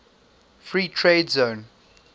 free trade zone